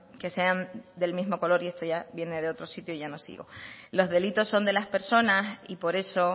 que sean del mismo color y esto ya viene de otro sitio y ya no sigo los delitos son de las personas y por eso